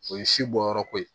O ye si bɔyɔrɔ ko ye